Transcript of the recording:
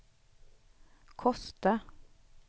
Kosta